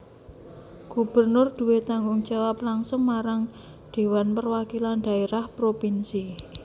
Gubernur duwé tanggung jawab langsung marang Dhéwan Perwakilan Dhaérah Propinsi